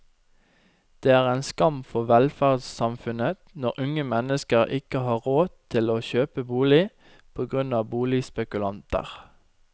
Det er en skam for velferdssamfunnet når unge mennesker ikke har råd til å kjøpe bolig, på grunn av boligspekulanter.